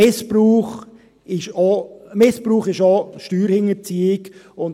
Missbrauch ist auch Steuerhinterziehung.